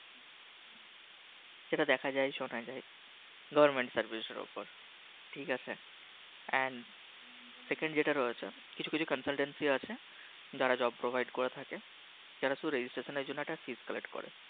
যেটা দেখা যায় শোনা যায় Government Services এর উপর ঠিক আছে And Second যেটা রয়েছে কিছু কিছু Consultancy আছে যারা Job Provide করে থাকে যারা শুধু Registration জন্য একটা Fees Collect করে থাকে